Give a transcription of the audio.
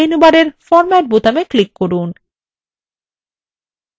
menu বারের format বোতামে click করুন